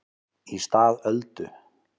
Í stað Öldu